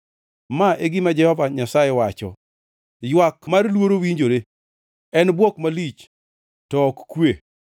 “Ma e gima Jehova Nyasaye wacho: “ ‘Ywak mar luoro winjore, en bwok malich, to ok kwe.